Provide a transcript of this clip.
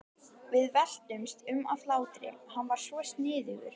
Við veltumst um af hlátri, hann var svo sniðugur.